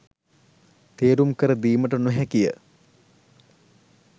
තේරුම් කර දීමට නොහැකි ය